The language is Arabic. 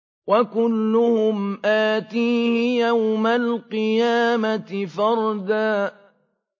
وَكُلُّهُمْ آتِيهِ يَوْمَ الْقِيَامَةِ فَرْدًا